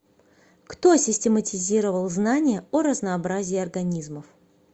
кто систематизировал знания о разнообразии организмов